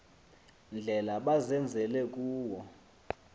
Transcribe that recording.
ndlela bazenzele kuwo